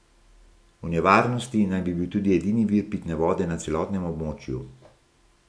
V nevarnosti naj bi bil tudi edini vir pitne vode na celotnem območju.